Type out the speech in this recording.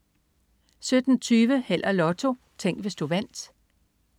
17.20 Held og Lotto. Tænk, hvis du vandt